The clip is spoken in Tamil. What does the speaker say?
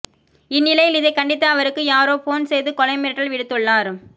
இந்நிலையில் இதை கண்டித்து அவருக்கு யாரோ போன் செய்து கொலை மிரட்டல் விடுத்துள்ளார்